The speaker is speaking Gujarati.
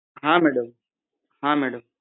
હા મેડમ